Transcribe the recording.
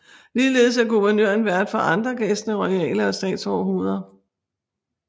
Ligeledes er guvernøren vært for andre gæstende royale og statsoverhoveder